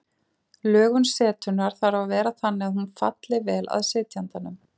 Lögun setunnar þarf að vera þannig að hún falli vel að sitjandanum.